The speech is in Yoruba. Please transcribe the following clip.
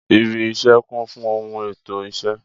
Ìbí isé kun fun ohun ètó isé